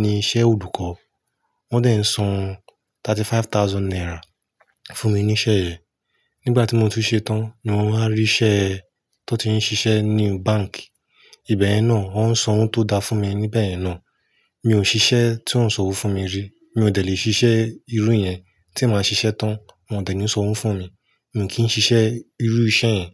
ni iṣẹ́ olùkọ́. Wọ́n dẹ̀ ń san 35,000 naira fún mi ní iṣẹ́ yẹn. Nígbà tí mo tún ṣe tán ni wọ́n wá rí iṣẹ́ tó ti ń ṣiṣẹ́ ní bánkì. Ìbẹ̀ yẹn náà, wọn san owó tó da fún mi níbẹ̀ yẹn náà. Mi ò ṣiṣẹ́ tí wọ́n ń sanwó fún mi ri. Mi ò dẹ̀ lé ṣiṣẹ́ irú yẹn. Tí màá ṣiṣẹ́ tán, wọ́n ò dẹ̀ ń sanwó fún mi. Mi kì í ṣiṣẹ́ irú iṣẹ́ yẹn.